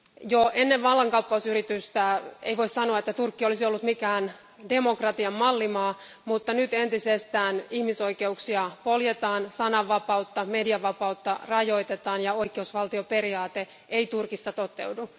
Jo ennen vallankaappausyritystä ei voitu sanoa, että Turkki olisi ollut mikään demokratian mallimaa, mutta nyt ihmisoikeuksia poljetaan entisestään, sananvapautta ja median vapautta rajoitetaan ja oikeusvaltioperiaate ei Turkissa toteudu.